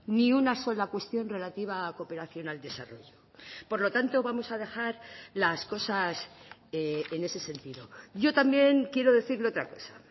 ni una sola cuestión relativa a cooperación al desarrollo por lo tanto vamos a dejar las cosas en ese sentido yo también quiero decirle otra cosa